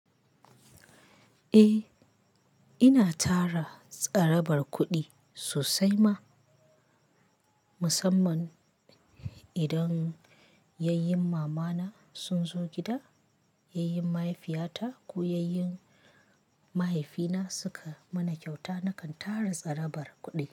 Eh, ina tara tsarabar kuɗi sosai ma, musamman idan yayyen mama na sun zo gida, yayyen mahaifiya ta ko yayyen mahaifi na suka mana kyauta, nakan tara tsarabar kuɗi.